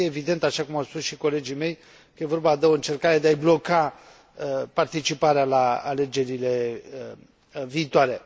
Este evident, așa cum au spus și colegii mei, că este vorba de o încercare de a i bloca participarea la alegerile viitoare.